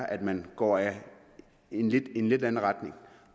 at man går i en lidt en lidt anden retning